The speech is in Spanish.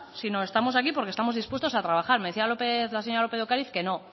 sino estamos aquí porque estamos dispuestos a trabajar me decía la señora lópez de ocariz que no